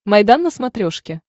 майдан на смотрешке